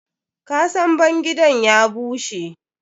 Ƙasan bangidan ya bushe.